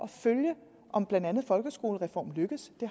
følge om blandt andet folkeskolereformen lykkes